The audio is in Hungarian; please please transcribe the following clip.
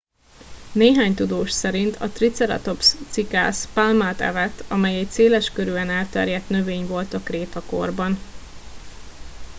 néhány tudós szerint a triceratops cikász pálmát evett amely egy széleskörűen elterjedt növény volt a krétakorban